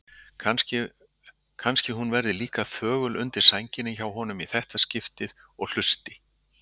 Kannski hún verði líka þögul undir sænginni hjá honum í þetta skipti og hlusti.